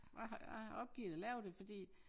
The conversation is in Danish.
Jeg har jeg har opgivet at lave det fordi